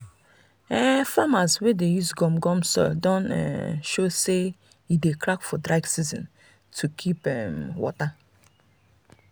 farmers wey dey um use gum gum soil don um show say e dey crack for dry season to keep um water.